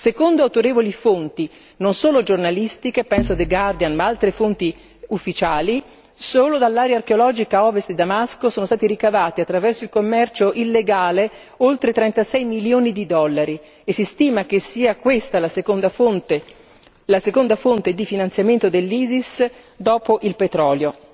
Secondo autorevoli fonti non solo giornalistiche, penso a The Guardian e ad altre fonti ufficiali, solo dall'area archeologica a ovest di Damasco sono stati ricavati attraverso il commercio illegale oltre 36 milioni di dollari e si stima che questa sia la seconda fonte di finanziamento dell'Isis dopo il petrolio.